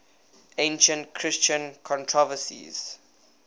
ancient christian controversies